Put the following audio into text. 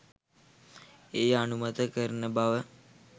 එය අනුමත කරන බව